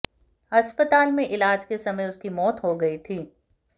अस्पताल में इलाज के समय उसकी मौत हो गयी थी